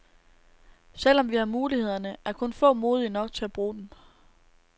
Selvom vi har mulighederne, er kun få modige nok til at bruge dem.